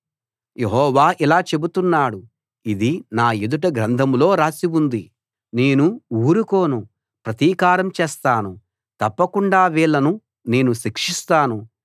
యెహోవా ఇలా చెబుతున్నాడు ఇది నా ఎదుట గ్రంథంలో రాసి ఉంది నేను ఊరుకోను ప్రతీకారం చేస్తాను తప్పకుండా వీళ్ళను నేను శిక్షిస్తాను